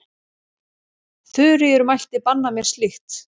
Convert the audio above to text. Þuríður mælti banna mér slíkt.